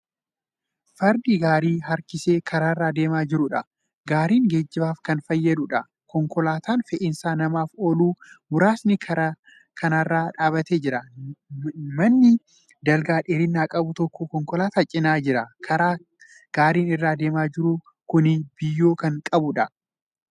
Farda gaarii harkisee karaarra deemaa jiruudha. gaariin geejjibaaf Kan fayyaduudha. konkolaataan fe'iinsa namaaf oolu muraasni karaa kanarra dhaabatee Jira. manni dalga dheerina qabu tokko konkolaataa cinaa jira. karaan gaariin irra deemaa jiru Kuni biyyoo Kan qabuudha.